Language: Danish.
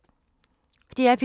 DR P3